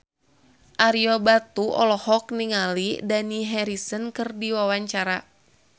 Ario Batu olohok ningali Dani Harrison keur diwawancara